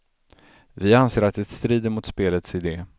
Vi anser att det strider mot spelets idé.